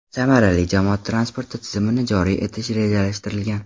Samarali jamoat transporti tizimini joriy etish rejalashtirilgan.